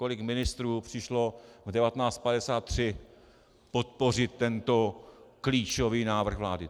Kolik ministrů přišlo v 19.53 podpořit tento klíčový návrh vlády?